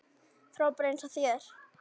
Frábær eins og þér.